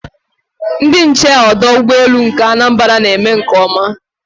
Ndị nche ọdụ ụgbọelu nke Anambra na-eme nke ọma